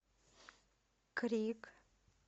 крик